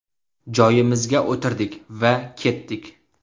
Joyimizga o‘tirdik va ketdik.